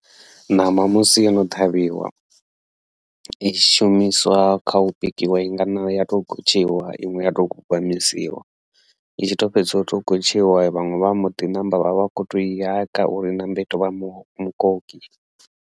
Ṋama musi yono ṱhavhiwa i shumiswa kha u bikiwa inga na ya tou gotshiwa, iṅwe ya tou gwagwamisiwa i tshi to fhedza utou gotshiwa vhaṅwe vha mboḓi ṋamba vha vha khou tou i haka uri I ṋambe itou vha mukoki.